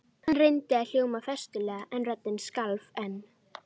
Hann reyndi að hljóma festulega en röddin skalf enn.